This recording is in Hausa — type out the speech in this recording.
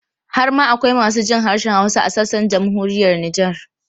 Har ma akwai masu jin harshen Hausa a sassan Jamhuriyar Nijar.